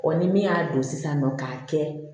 ni min y'a don sisan nɔ k'a kɛ